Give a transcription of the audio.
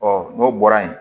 n'o bɔra yen